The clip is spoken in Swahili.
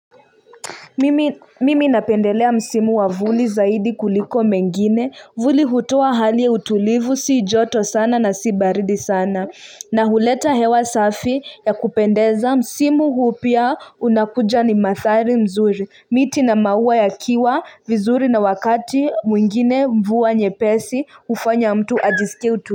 Mimi napendelea msimu wa vuli zaidi kuliko mengine vuli hutoa hali ya utulivu si joto sana na si baridi sana na huleta hewa safi ya kupendeza msimu huu pia unakuja ni mathari mzuri miti na maua yakiwa vizuri na wakati mwingine mvua nyepesi hufanya mtu ajisikia utuli.